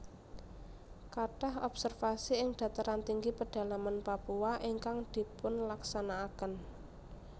Kathah observasi ing dataran tinggi pedalaman Papua ingkang dipunlaksanakaken